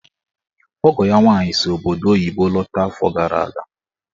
Ọgọ ya nwaanyị si obodo oyibo lọta afọ gara aga.